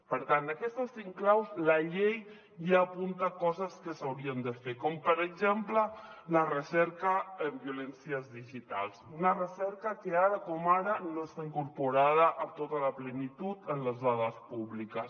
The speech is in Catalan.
per tant d’aquestes cinc claus la llei ja apunta coses que s’haurien de fer com per exemple la recerca en violències digitals una recerca que ara com ara no està incorporada amb tota la plenitud en les dades públiques